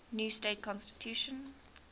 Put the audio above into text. new state constitution